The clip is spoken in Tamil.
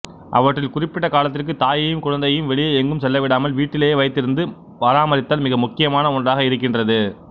அவற்றில் குறிப்பிட்ட காலத்திற்கு தாயையும் குழந்தையையும் வெளியே எங்கும் செல்லவிடாமல் வீட்டிலேயே வைத்திருந்து பராமரித்தல் மிக முக்கியமான ஒன்றாக இருக்கின்றது